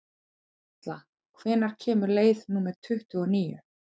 Atla, hvenær kemur leið númer tuttugu og níu?